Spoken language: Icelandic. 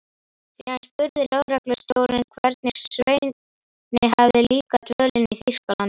Síðan spurði lögreglustjórinn, hvernig Sveini hefði líkað dvölin í Þýskalandi.